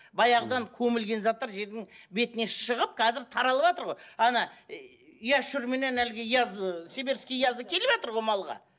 баяғыдан көмілген заттар жердің бетіне шығып қазір таралватыр ғой әлгі ыыы сибирский язва келіватыр ғой малға